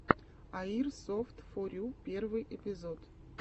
аирсофтфорю первый эпизод